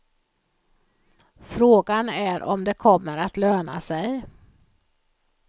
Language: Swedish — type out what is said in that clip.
Fråga är om det kommer att löna sig.